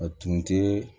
A tun tɛ